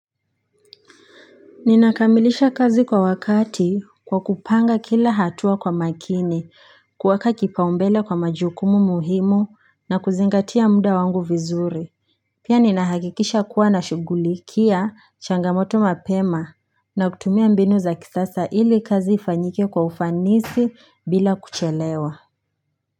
Ninakamilisha kazi kwa wakati kwa kupanga kila hatua kwa makini kuwaka kipaumbele kwa majukumu muhimu na kuzingatia muda wangu vizuri Pia ninahakikisha kuwa na shugulikia changamoto mapema na kutumia mbinu za kisasa ili kazi ifanyike kwa ufanisi bila kuchelewa.